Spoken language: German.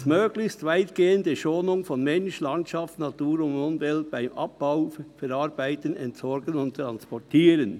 Drittens: «Möglichst weitgehende Schonung von Mensch, Landschaft, Natur und Umwelt beim Abbauen, Verarbeiten, Entsorgen und Transportieren.